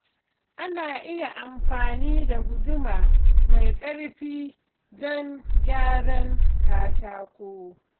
Ana iya amfani da guduma mai ƙarfi don gyaran katako.